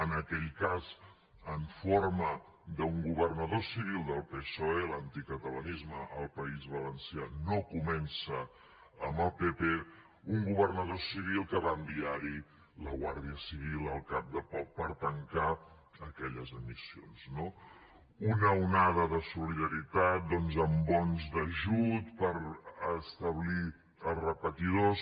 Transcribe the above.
en aquell cas en forma d’un governador civil del psoe l’anticatalanisme al país valencià no comença amb el pp d’un governador civil que va enviar hi la guàrdia civil al cap de poc per tancar aquelles emissions no una onada de solidaritat doncs amb bons d’ajut per establir els repetidors